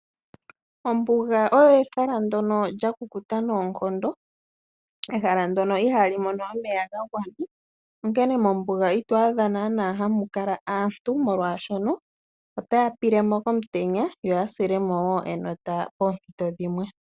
Ombuga olyo ehala ndono lyakukuta noonkondo, ehala ndono ihali mono omeya ga gwana onkene mombuga ito adha naana hamu kala aantu molwaashoka otaya pilemo komutenya yo ya silemo enota poompito dhimwe .